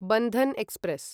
Bandhan express